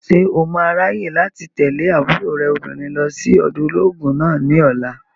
Ṣé o máa ráyè láti tẹ̀lé àbúrò rẹ̀ obìnrin lọ sí ọ̀dọ̀ olóògùn náà ní ọ̀la?